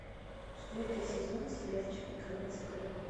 четвертый сезон сериальчика конец игры